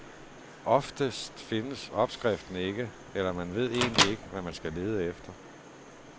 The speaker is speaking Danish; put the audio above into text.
Oftest findes opskriften ikke, eller man ved egentlig ikke, hvad man skal lede efter.